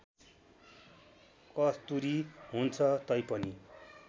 कस्तुरी हुन्छ तैपनि